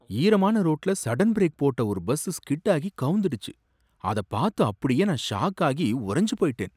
ஈரமான ரோட்டுல sudden brake போட்ட ஒரு பஸ் ஸ்கிட் ஆகி கவுந்திடுச்சு, அதப் பார்த்து அப்படியே நான் ஷாக் ஆகி உறைஞ்சு போயிட்டேன்.